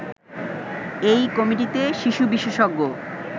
এই কমিটিতে শিশু বিশেষজ্ঞ